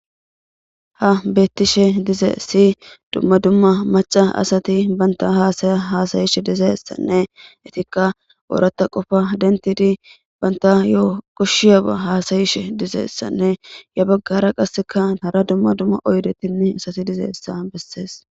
Ha bettishe dize siyi dumma dumma maca asati bantahasaya haasayishe dizeessanne etikka ooratta qofa dentidi banta yo koshshiyaba haasayishe dizeessanne ya baggara qasseka nara dumma dumma oydetinne asati dizessa bessees.